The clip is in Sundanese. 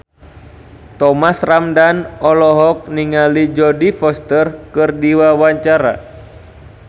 Thomas Ramdhan olohok ningali Jodie Foster keur diwawancara